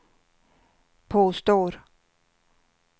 påstår